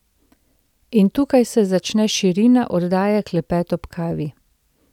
In tukaj se začne širina oddaje Klepet ob kavi.